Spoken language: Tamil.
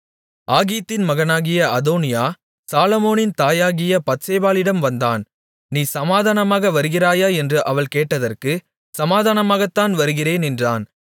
ஆகீத்தின் மகனாகிய அதோனியா சாலொமோனின் தாயாகிய பத்சேபாளிடம் வந்தான் நீ சமாதானமாக வருகிறாயா என்று அவள் கேட்டதற்கு சமாதானமாகத்தான் வருகிறேன் என்றான்